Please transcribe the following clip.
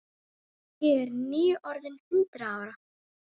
Ég er nýorðin hundrað ára.